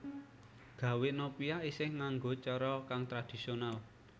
Gawè nopia isih nganggo cara kang tradisional